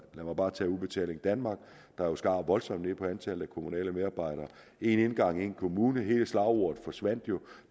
lad mig bare tage udbetaling danmark der jo skar voldsomt ned på antallet af kommunale medarbejdere en indgang en kommune hele slagordet forsvandt jo